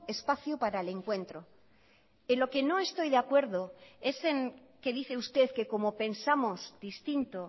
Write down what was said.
espacio para el encuentro en lo que no estoy de acuerdo es en que dice usted que como pensamos distinto